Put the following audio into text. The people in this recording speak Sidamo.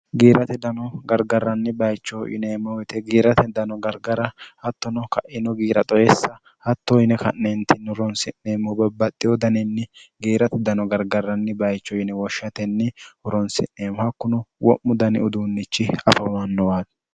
giirate dano gargarranni bayichoh yineemmoite giirate dano gargara hattono ka'ino giira xoyessa hatto yine ka'neentinni uronsi'neemmo babbaxxi wodaninni giirate dano gargarranni bayicho yine woshshatenni huronsi'neemmohakkunu wo'mu dani uduunnichi afamannowaati